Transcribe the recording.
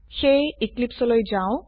সেয়ে এক্লিপছে লৈ যাও